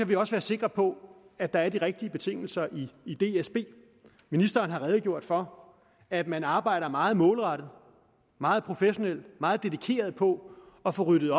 vi også være sikre på at der er de rigtige betingelser i dsb ministeren har redegjort for at man arbejder meget målrettet og meget professionelt meget dedikeret på at få ryddet